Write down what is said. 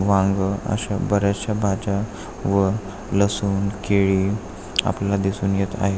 वांग अशा बऱ्याचश्या भाज्या व लसूण केळी आपल्याला दिसून येत आहे.